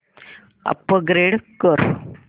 upgrade कर